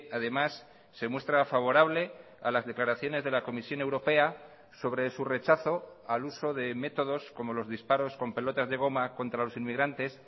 además se muestra favorable a las declaraciones de la comisión europea sobre su rechazo al uso de métodos como los disparos con pelotas de goma contra los inmigrantes